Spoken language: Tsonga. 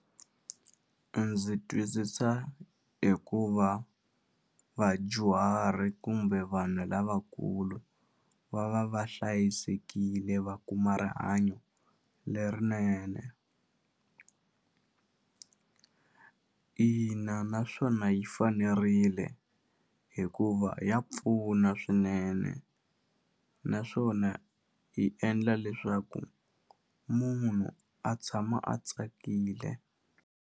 Ndzi twisisa hi ku va vadyuhari kumbe vanhu lavakulu va va va hlayisekile va kuma rihanyo lerinene ina naswona yi fanerile hikuva ya pfuna swinene naswona yi endla leswaku munhu a tshama a tsakile.